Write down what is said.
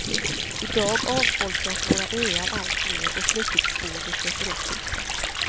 I dag avfolkas våra öar alltmer och fritidsboende köper upp husen.